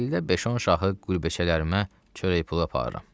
İldə beş-on şahı qürbəçələrimə çörək pulu aparıram.